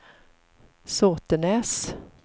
Såtenäs